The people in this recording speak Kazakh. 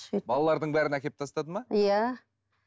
балалардың бәрін әкеліп тастады ма иә